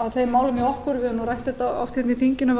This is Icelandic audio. að þeim málum hjá okkur við höfum rætt þetta oft í þinginu